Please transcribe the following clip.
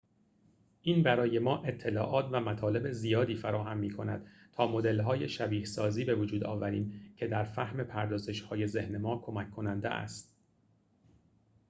این برای ما اطلاعات و مطالب زیادی فراهم می‌کند تا مدل‌های شبیه‌سازی بوجود آوریم که در فهم پردازش‌های ذهن ما کمک کننده است